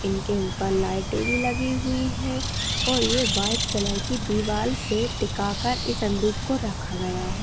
इनके ऊपर लाईटे भी लगी हुयी है और ये वाईट कलर की दीवाल से टिका कर इस संदूक को रखा गया है।